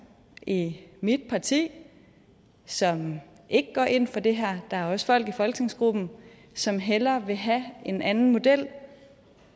i mit parti som ikke går ind for det her der er også folk i folketingsgruppen som hellere vil have en anden model